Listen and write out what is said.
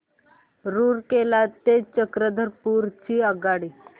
रूरकेला ते चक्रधरपुर ची आगगाडी